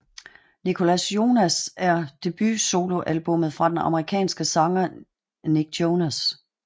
Nicholas Jonas er debut solo albummet fra den amerikanske sanger Nick Jonas